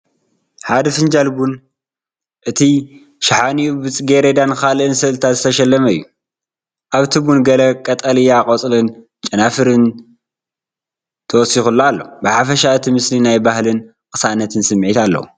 ሓደ ፊንጃል ቡን፣ እቲ ሻሓኒኡ ብጽጌረዳን ካልእ ስእልታትን ዝተሸለመ እዩ። ኣብቲ ቡን ገለ ቀጠልያ ቆጽልን ጨናፍርን ተወሰኸሉ ኣሎ። ብሓፈሻ እቲ ምስሊ ናይ ባህልን ቅሳነትን ስምዒት ኣለዎ።